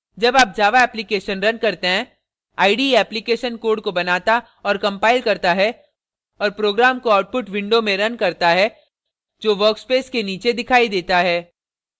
जब आप java application run करते हैं ide application code को बनाता और compiles करता है और program को output window में रन करता है जो workspace के नीचे दिखाई देता है